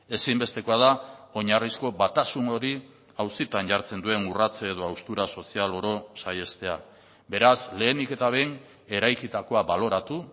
ezinbestekoa da oinarrizko batasun hori auzitan jartzen duen urrats edo haustura sozial oro saihestea beraz lehenik eta behin eraikitakoa baloratu